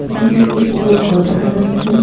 এখানে একটি বড়ো ঘর দেখা যাচ্ছে.